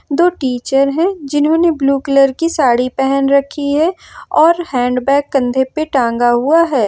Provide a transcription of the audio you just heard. दो टीचर है जिन्होंने ब्लू कलर की साड़ी पहन रखी है और हैंडबैग कंधे पे टंगा हुआ है।